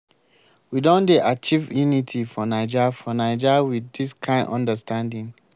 we don dey achieve unity for naija for naija wit dis kind understanding.